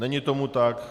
Není tomu tak.